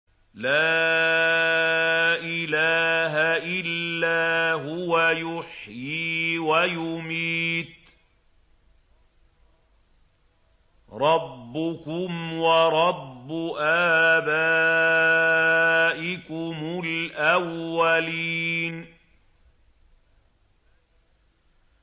لَا إِلَٰهَ إِلَّا هُوَ يُحْيِي وَيُمِيتُ ۖ رَبُّكُمْ وَرَبُّ آبَائِكُمُ الْأَوَّلِينَ